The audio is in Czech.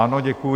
Ano, děkuji.